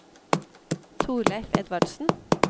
Torleiv Edvardsen